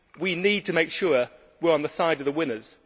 We need to make sure we are on the side of the winners.